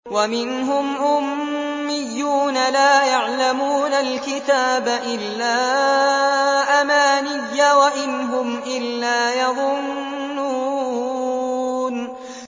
وَمِنْهُمْ أُمِّيُّونَ لَا يَعْلَمُونَ الْكِتَابَ إِلَّا أَمَانِيَّ وَإِنْ هُمْ إِلَّا يَظُنُّونَ